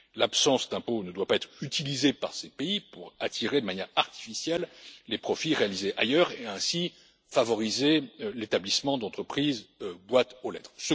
L'absence d'impôt ne doit pas être utilisée par ces pays pour attirer de manière artificielle les profits réalisés ailleurs et ainsi favoriser l'établissement d'entreprises boîte aux lettres.